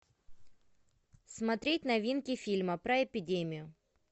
смотреть новинки фильма про эпидемию